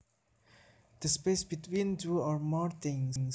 The space between two or more things